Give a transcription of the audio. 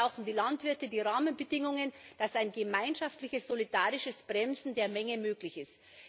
Und dabei brauchen die Landwirte die Rahmenbedingungen, damit ein gemeinschaftliches, solidarisches Bremsen der Menge möglich